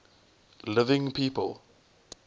living people